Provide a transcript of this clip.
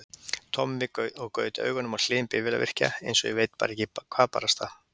Tommi og gaut augunum á Hlyn bifvélavirkja, einsog ég veit ekki hvað barasta!